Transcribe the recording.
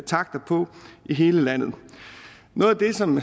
takter på i hele landet noget af det som